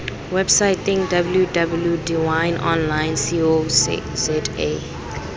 websaeteng www dawineonline co za